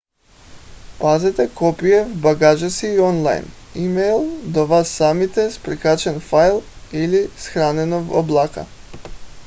пазете копие в багажа си и онлайн имейл до вас самите с прикачен файл или съхранено в облака